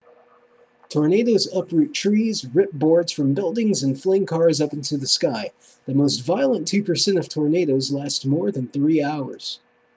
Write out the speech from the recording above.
tornadoes uproot trees rip boards from buildings and fling cars up into the sky the most violent two percent of tornadoes last more than three hours